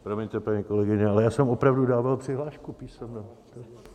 Promiňte, paní kolegyně, ale já jsem opravdu dával přihlášku písemně.